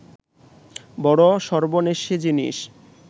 বড় সর্বনেশে জিনিস